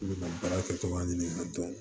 I bɛ ka baara kɛtogoya ɲini ka dɔn